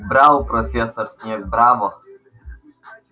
браво профессор снегг браво